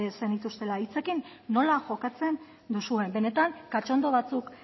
zenituztela hitzekin nola jokatzen duzuen benetan cachondo batzuk